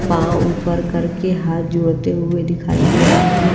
पांव ऊपर करके हाथ जोड़ते हुए दिखाई दे रहे हैं।